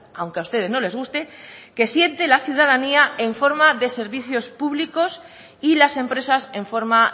aunque a ustedes no les guste que siente la ciudadanía en forma de servicios públicos y las empresas en forma